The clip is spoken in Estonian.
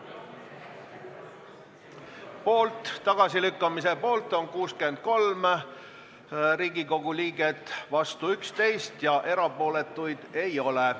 Hääletustulemused Tagasilükkamise poolt on 63 Riigikogu liiget, vastu 11 ja erapooletuid ei ole.